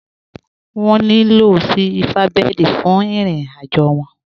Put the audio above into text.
Wọn nílọ̀ sí Silverbird fún ìrìn-àjọ wọn.